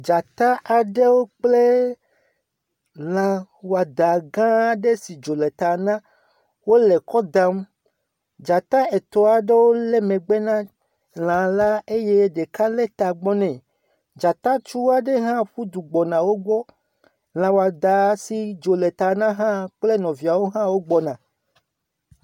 Dzata aɖewo kple lã woada aɖe si le dzo le ta na wole kɔ dam. Dzata etɔ aɖewo le megbe na lã la eye ɖeka le tagbɔ ne. Dzata tsua aɖe ƒu du gbɔ na wogbɔ. Lã wada si dzo le ta na hã kple nɔviawo hã wo gbɔna.